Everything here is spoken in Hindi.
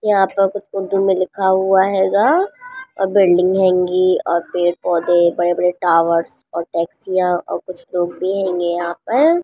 यहां पर उर्दू में कुछ लिखा हुआ हेगा और बिल्डिंग हेंगी और पेड़-पौधे बड़े-बड़े टावर्स और टैक्सियां और कुछ लोग भी हेंगे यहां पर।